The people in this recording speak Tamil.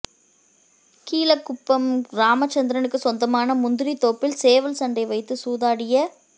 கீழக்குப்பம் ராமச்சந்திரனுக்கு சொந்தமான முந்திரி தோப்பில் சேவல் சண்டை வைத்து சூதாடிய